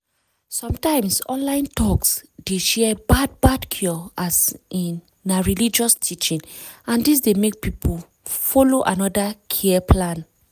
sometimes online talks dey share bad bad cure as in na religious teaching and dis dey make people follow another care plan.